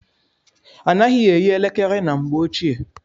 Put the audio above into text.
A naghị eyi elekere na mgbe ọchịe.